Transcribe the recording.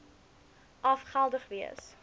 af geldig wees